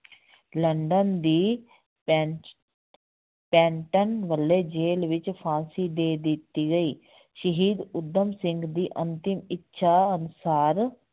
London ਦੀ ਪੈਂ~ ਪੈਂਨਟਨ ਵੱਲੋਂ ਜੇਲ੍ਹ ਵਿੱਚ ਫ਼ਾਂਸੀ ਦੇ ਦਿੱਤੀ ਗਈ ਸ਼ਹੀਦ ਊਧਮ ਸਿੰਘ ਦੀ ਅੰਤਿਮ ਇੱਛਾ ਅਨੁਸਾਰ